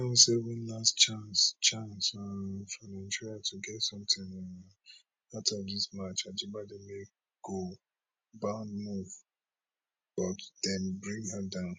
nine o seven last chance chance um for nigeria to get something um out of dis match ajibade make goal bound move but dem bring her down